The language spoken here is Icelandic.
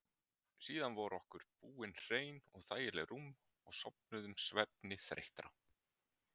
Síðan voru okkur búin hrein og þægileg rúm og sofnuðum svefni þreyttra.